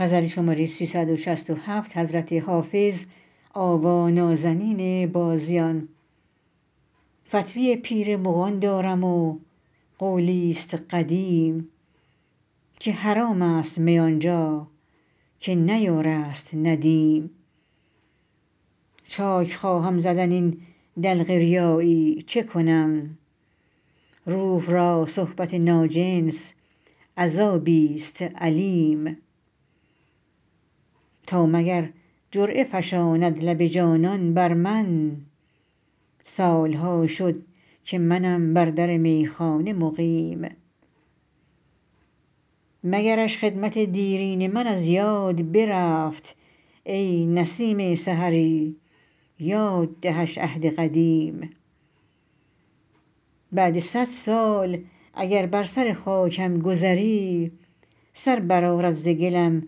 فتوی پیر مغان دارم و قولی ست قدیم که حرام است می آن جا که نه یار است ندیم چاک خواهم زدن این دلق ریایی چه کنم روح را صحبت ناجنس عذابی ست الیم تا مگر جرعه فشاند لب جانان بر من سال ها شد که منم بر در میخانه مقیم مگرش خدمت دیرین من از یاد برفت ای نسیم سحری یاد دهش عهد قدیم بعد صد سال اگر بر سر خاکم گذری سر برآرد ز گلم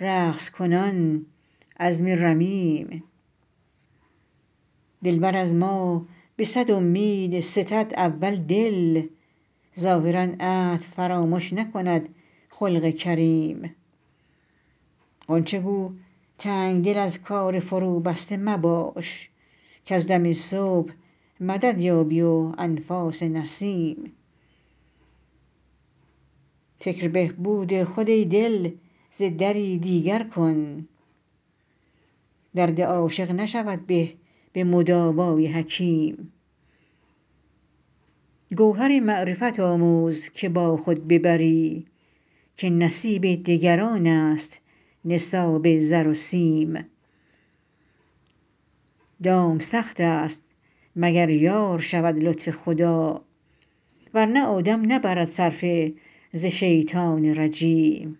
رقص کنان عظم رمیم دلبر از ما به صد امید ستد اول دل ظاهرا عهد فرامش نکند خلق کریم غنچه گو تنگ دل از کار فروبسته مباش کز دم صبح مدد یابی و انفاس نسیم فکر بهبود خود ای دل ز دری دیگر کن درد عاشق نشود به به مداوای حکیم گوهر معرفت آموز که با خود ببری که نصیب دگران است نصاب زر و سیم دام سخت است مگر یار شود لطف خدا ور نه آدم نبرد صرفه ز شیطان رجیم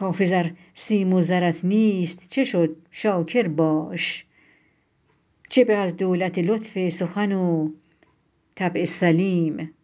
حافظ ار سیم و زرت نیست چه شد شاکر باش چه به از دولت لطف سخن و طبع سلیم